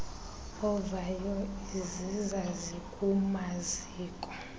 ovayo iziza zikumaziko